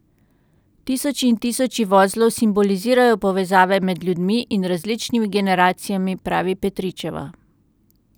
Tisoči in tisoči vozlov simbolizirajo povezave med ljudmi in različnimi generacijami, pravi Petričeva.